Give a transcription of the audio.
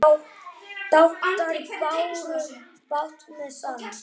Dátar báru bát með sann.